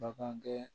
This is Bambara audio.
Bagan gɛ